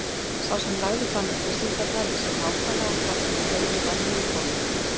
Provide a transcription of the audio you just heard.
Sá sem lagði fram upplýsingarnar vissi nákvæmlega hvar kauði var niðurkominn.